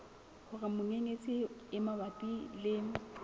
hore menyenyetsi e mabapi le